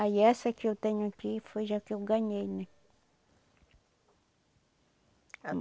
Aí essa que eu tenho aqui foi já que eu ganhei, né?